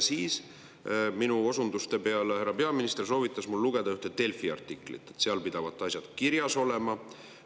Siis minu osunduste peale härra peaminister soovitas mul lugeda ühte Delfi artiklit, et seal pidavat asjad kirjas olema.